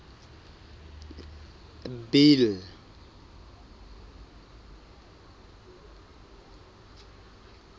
bill